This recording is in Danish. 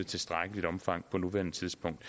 tilstrækkeligt omfang på nuværende tidspunkt